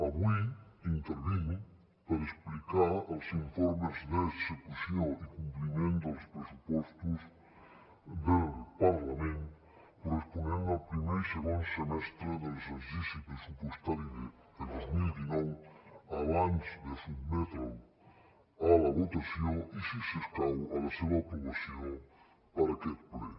avui intervinc per explicar els informes d’execució i compliment dels pressupostos del parlament corresponents al primer i segon semestre de l’exercici pressupostari de dos mil dinou abans de sotmetre’ls a la votació i si escau a la seva aprovació per aquest ple